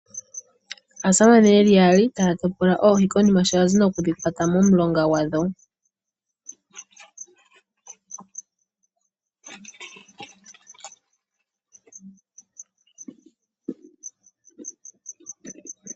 Aasamane yeli yaali taya topola oohi konima shoyazi nokudhikwata momulongagwadho.